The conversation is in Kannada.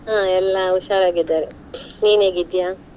ಹಾ ಎಲ್ಲಾ ಹುಷಾರ್ ಆಗಿದ್ದಾರೆ, ನೀನ್ ಹೇಗಿದ್ಯಾ?